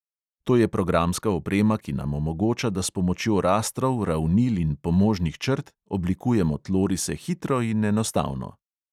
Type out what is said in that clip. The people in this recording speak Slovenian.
To je programska oprema, ki nam omogoča, da s pomočjo rastrov, ravnil in pomožnih črt oblikujemo tlorise hitro in enostavno.